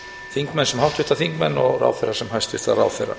þingmenn sem háttvirta þingmenn og ráðherra sem hæstvirta ráðherra